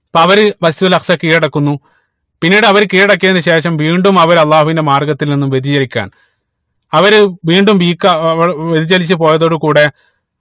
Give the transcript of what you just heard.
അപ്പൊ അവര് Masjid ഉൽ അക്സ കീഴടക്കുന്നു പിന്നീട് അവര് കീഴടക്കിയതിന് ശേഷം വീണ്ടും അവര് അള്ളാഹുവിന്റെ മാർഗത്തിൽ നിന്നും വൃതിചലിക്കാണ് അവര് വീണ്ടും weak ആവ ഏർ വൃതിചലിച്ച് പോയതോട് കൂടെ